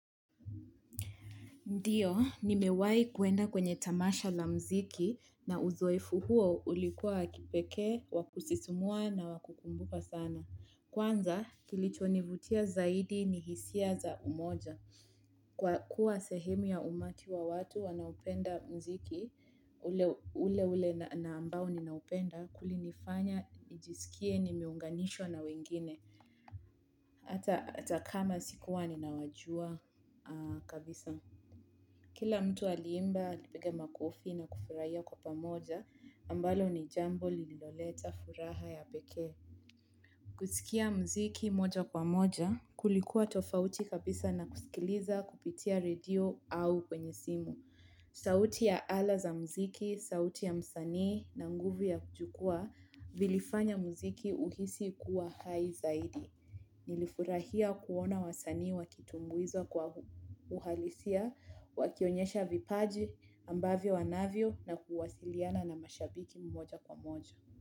Ndio, nimewai kuenda kwenye tamasha la mziki na uzoefu huo ulikuwa wa kipekee, wakusisimua na wakukumbuka sana. Kwanza, kilicho nivutia zaidi ni hisia za umoja. Kwa kuwa sehemu ya umati wa watu wanaupenda mziki, ule ule na ambao ninaupenda, kuli nifanya, nijisikie, nimiunganisho na wengine. Hata kama sikuwa ninawajua kabisa. Kila mtu aliimba, akipigi makofi na kufurahia kwa pamoja, ambalo ni jambo lililoleta furaha ya pekee. Kusikia mziki moja kwa moja, kulikuwa tofauti kabisa na kusikiliza kupitia redio au kwenye simu. Sauti ya ala za mziki, sauti ya msanii na nguvu ya kujukua, vilifanya mziki uhisi kuwa hai zaidi. Nilifurahia kuona wasanii wakitumbuiza kwa uhalisia, wakionyesha vipaji ambavyo wanavyo na kuwasiliana na mashabiki mmoja kwa moja.